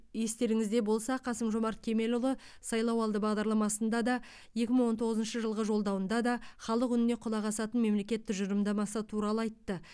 естеріңізде болса қасым жомарт кемелұлы сайлауалды бағдарламасында да екі мың он тоғызыншы жылғы жолдауында да халық үніне құлақ асатын мемлекет тұжырымдамасы туралы айтты